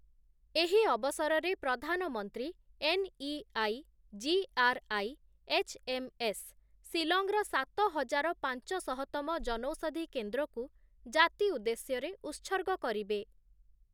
ଏହି ଅବସରରେ ପ୍ରଧାନମନ୍ତ୍ରୀ ଏନ୍‌ଇଆଇଜିଆର୍‌ଆଇଏଚ୍‌ଏମ୍‌ଏସ୍, ଶିଲଂର ସାତ ହଜାର ପାଞ୍ଚଶହତମ ଜନୌଷଧି କେନ୍ଦ୍ରକୁ ଜାତି ଉଦ୍ଦେଶ୍ୟରେ ଉତ୍ସର୍ଗ କରିବେ ।